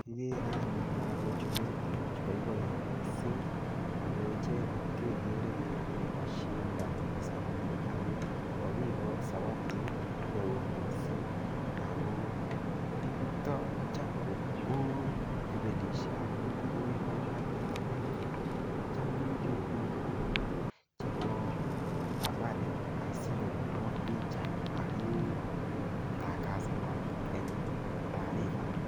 Kikere anyun lakochu mengech boiboen mising ako icheket kekere kele kashindonis anyun ako kakikochi zawadit neo mising ako yuto ko cham ko ibelishe ak nambet akenge kocham kekure biko anyun chebo habari sinyokopirok picha aketangasanak eng taripa.